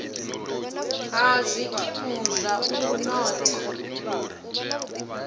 ha zwikimu zwa u notha